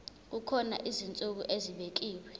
kukhona izinsuku ezibekiwe